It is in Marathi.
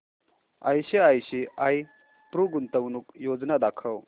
आयसीआयसीआय प्रु गुंतवणूक योजना दाखव